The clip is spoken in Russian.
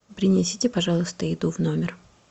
принесите пожалуйста еду в номер